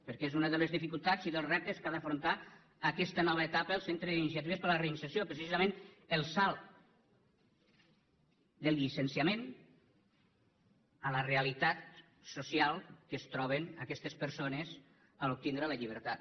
perquè és una de les dificultats i dels reptes que ha d’afrontar aquesta nova etapa el centre d’iniciatives per a la reinserció precisament el salt del llicenciament a la realitat social amb què es troben aquestes persones en obtenir la llibertat